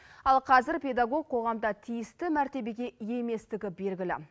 ал қазір педагог қоғамда тиісті мәртебеге ие еместігі белгілі